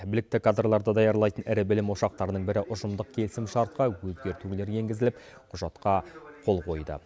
білікті кадрларды даярлайтын ірі білім ошақтарының бірі ұжымдық келісімшартқа өзгертулер енгізіліп құжатқа қол қойды